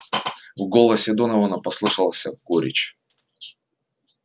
в голосе донована послышался горечь